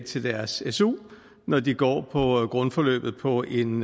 til deres su når de går på grundforløbet på en